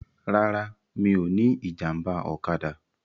Rárá, mi ò ní ìjàmbá ọ̀kadà.